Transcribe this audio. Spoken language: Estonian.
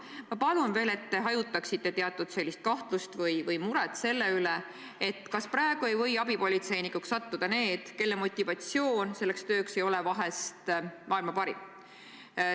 Ma palun veel, et te hajutaksite teatud kahtlust või muret selle pärast, ega praegu ei või abipolitseinikuks sattuda inimesed, kelle motivatsioon selleks tööks ei ole vahest maailma parim.